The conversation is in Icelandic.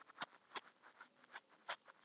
Patrek, hvað geturðu sagt mér um veðrið?